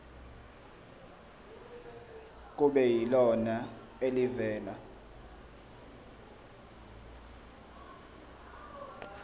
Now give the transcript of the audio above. kube yilona elivela